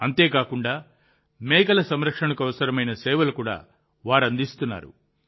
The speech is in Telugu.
అంతే కాదు మేకల సంరక్షణకు అవసరమైన సేవలు కూడా వారు అందిస్తున్నారు